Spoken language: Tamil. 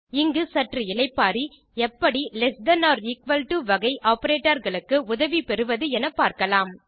இங்கு சற்று இளைப்பாறி எப்படி less than or equal to வகை ஆப்பரேட்டர் களுக்கு உதவி பெறுவது எனப்பார்க்கலாம்